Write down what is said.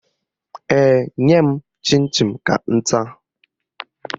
Ee, nye m chịn chịn ka m taa